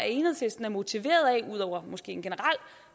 enhedslisten er motiveret af ud over måske en generel